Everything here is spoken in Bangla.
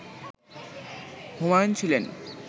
হুমায়ুন ছিলেন